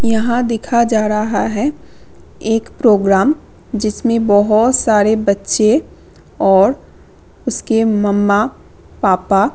यहाँ दिखा जा रहा है एक प्रोग्राम जिसमे बहुत सारे बच्चे और उसके मम्मा पापा --